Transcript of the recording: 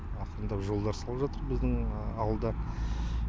ақырындап жолдар салып жатыр біздің ауылда